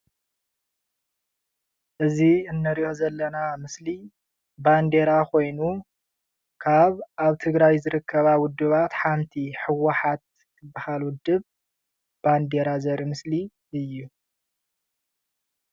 እዚ እንሪኦ ዘለና ምስሊ ባንዴራ ኾይኑ ካብ ኣብ ትግራይ ዝርከባ ዉድባት ሓንቲ ህወሓት ትብሃል ዉድብ ባንዴራ ዘርኢ ምስሊ እዩ።